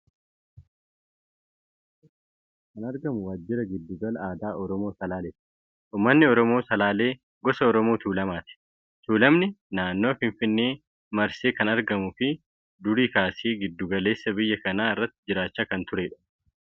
Suuraa kana irratti kan argamu waajjira giddu gala aadaa Oromoo Salaalee ti. Uummanni oromoo Salaalee gosa Oromoo tuulamaati. Tuulamni naannawaa Finfinnee Marske kan argamuu fi durii kaasee giddu galeessa biyya kanaa irra jiraachaa kan turedha.